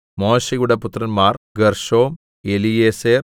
മോശെയുടെ പുത്രന്മാർ ഗേർശോം എലീയേസെർ